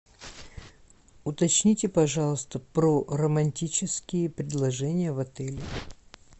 уточните пожалуйста про романтические предложения в отеле